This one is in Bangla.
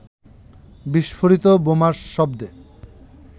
বিস্ফোরিত বোমার শব্দে